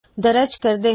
ਦਰਜ ਕਰਦੇ ਹਾ